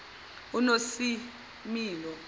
unosimilo